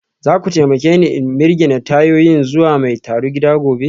Za ku taimake ni in mirgine tayoyin zuwa mai tarugida gobe?